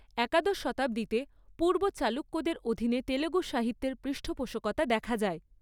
একাদশ শতাব্দীতে, পূর্ব চালুক্যদের অধীনে তেলুগু সাহিত্যের পৃষ্ঠপোষকতা দেখা যায়।